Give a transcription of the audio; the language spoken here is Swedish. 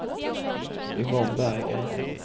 Yvonne Berggren